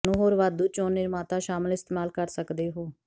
ਤੁਹਾਨੂੰ ਹੋਰ ਵਾਧੂ ਚੋਣ ਨਿਰਮਾਤਾ ਸ਼ਾਮਿਲ ਇਸਤੇਮਾਲ ਕਰ ਸਕਦੇ ਹੋ